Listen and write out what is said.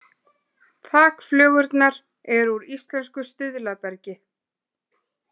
Þakflögurnar eru úr íslensku stuðlabergi